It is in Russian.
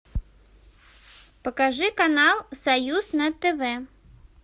покажи канал союз на тв